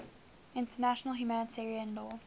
international humanitarian law